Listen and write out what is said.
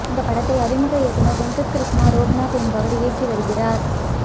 இந்த படத்தை அறிமுக இயக்குனர் வெங்கட் கிருஷ்ணா ரோக்நாத் என்பவர் இயக்கி வருகிறார்